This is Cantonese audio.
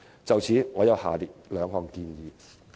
就此，我有下列兩項建議。